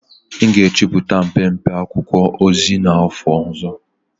M ga-ejupụta mpempe akwụkwọ ozi n'afọ ọzọ.